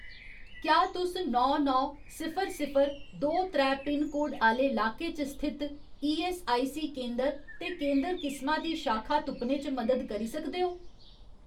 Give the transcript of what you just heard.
क्या तुस नौ नौ सिफर सिफर दो त्रै पिनकोड आह्‌ले लाके च स्थित ईऐस्सआईसी केंदर ते केंदर किसमा दी शाखा तुप्पने च मदद करी सकदे ओ ?